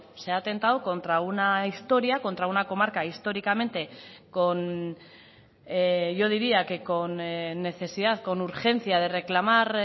se ha atentado contra una historia contra una comarca históricamente con yo diría que con necesidad con urgencia de reclamar